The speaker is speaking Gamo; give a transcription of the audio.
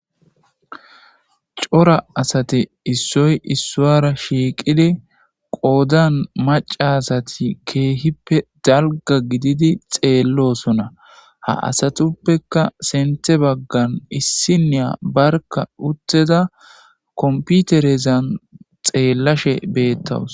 cora asati issoy issuara shiiqidi qoodan maca asati keehippe dalga gididi xeellosona ha asatuppeka senthe baggan issiniya barka utteda komputerezan xeellashe beettawus